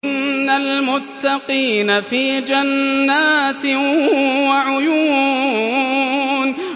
إِنَّ الْمُتَّقِينَ فِي جَنَّاتٍ وَعُيُونٍ